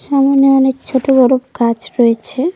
সামোনে অনেক ছোট বড়ো গাছ রয়েছে।